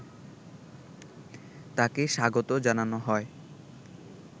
তাকে স্বাগত জানানো হয়